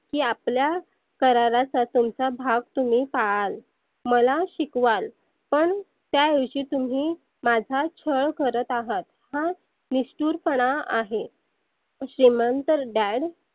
ही आपल्या कराराचा भाग तुम्ही पाळाल मला शिकवाल पण त्या ऐवजी तुम्ही माझा छळ करत आहेत. हा निष्ठुर पणा आहे. श्रिमत Dad